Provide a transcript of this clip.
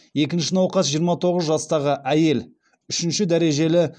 екінші науқас жиырма тоғыз жастағы әйел үшінші дәрежелі